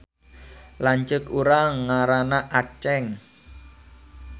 Lanceuk urang ngaranna Aceng